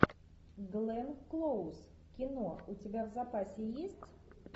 глен клоуз кино у тебя в запасе есть